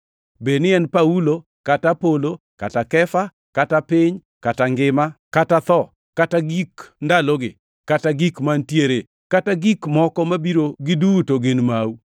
Bed ni en Paulo kata Apolo, kata Kefa, kata piny, kata ngima, kata tho, kata gik ndalogi, kata gik mantiere, kata gik moko mabiro giduto gin mau.